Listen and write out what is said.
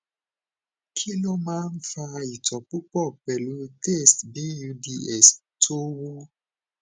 kí ló máa ń fa itó pupọ pelu taste buds tó wu